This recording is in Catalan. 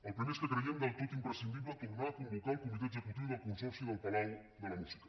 el primer és que creiem del tot imprescindible tornar a convocar el comitè executiu del consorci del palau de la música